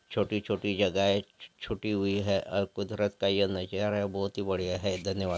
छोटी-छोटी जगह छूटी हुई है अ कुदरत का यह नजारा बहुत ही बढ़िया है धन्यवाद।